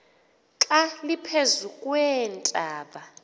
xa liphezu kweentaba